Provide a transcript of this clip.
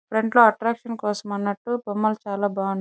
front లో attraction కోసం అన్నట్టు బొమ్మలు చాల బాగున్నా --